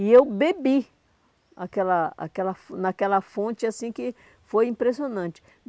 E eu bebi aquela aquela fon naquela fonte assim que foi impressionante.